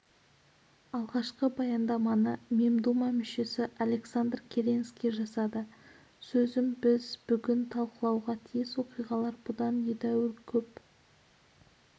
алғашқы баяндаманы мемдума мүшесі александр керенский жасады сөзін біз бүгін талқылауға тиіс оқиғалар бұдан едәуір көп